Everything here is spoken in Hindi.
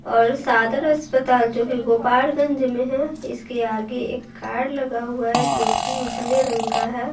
और सादर अस्पताल जो है गोपाड़गंज में है इसके आगे एक कार लगा हुआ है जो कि उजले रंग का है।